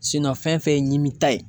fɛn fɛn ye ɲimi ta ye